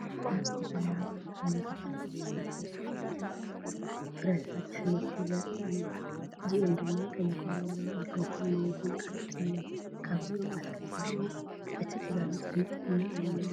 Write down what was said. ኣብ ዝተፈላለዩ ንጥረ ነገራት ዝተሰረቱ እኩብ ኣቑሑት ፍረታትን ኣሕምልትን ዘርኢ እዩ። እዚኦም ድማ ቀይሕ በርበረ፣ ኣራንሽን ማንጎን ካልኦትን እዮም። ካብዞም ኣትክልቲ እዚኦም እቲ ዝበለፀ ንጥዕና ኣየናይ እዩ?